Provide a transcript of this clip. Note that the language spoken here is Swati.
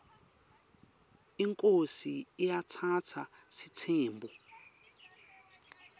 inkhosi iatsatsa sitsembu